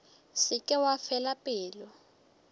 se ke wa fela pelo